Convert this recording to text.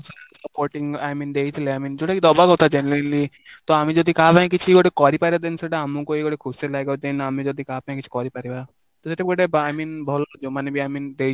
supporting I mean ଦେଇଥିଲେ I mean ଯୋଉଟା କି ଦବା କଥା genuinely ତ ଆମେ ଯଦି କାହା ପାଇଁ କିଛି ଗୋଟେ କରିପାରିବା then ସେଟା ଆମକୁ ହି ଗୋଟେ ଖୁସି ଲାଗିବ then ଆମେ ଯଦି କାହା ପାଇଁ କିଛି କରିପାରିବା ତ ସେଠି ଗୋଟେ by mean ଭଲ ଯୋଉ ମାନେ I mean